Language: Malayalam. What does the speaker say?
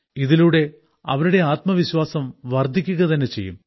ഇതിലൂടെ അവരുടെ ആത്മവിശ്വാസം വർദ്ധിക്കുക തന്നെ ചെയ്യും